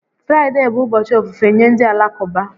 Fraịde bụ ụbọchị ofufe nye ndị Alakụba